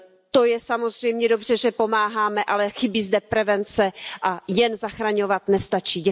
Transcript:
To je samozřejmě dobře, že pomáháme, ale chybí zde prevence a jen zachraňovat nestačí.